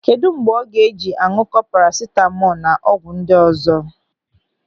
Kedụ mgbe ọ ga-eji añụkọ parasitamọl na ọgwụ ndị ọzọ.